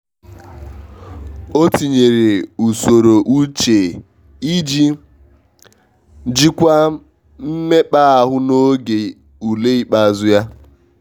o tinyere usoro uche iji jikwaa mmekp'ahu n'oge ule ikpeazụ ya.